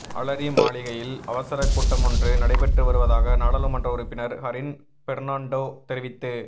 அலரி மாளிகையில் அவசர கூட்டமொன்று நடைபெற்று வருவதாக நாடாளுமன்ற உறுப்பினர் ஹரின் பெர்னாண்டோ தெரிவித்து